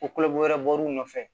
Ko wɛrɛ bɔr'u nɔfɛ